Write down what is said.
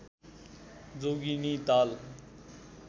Jogini Tal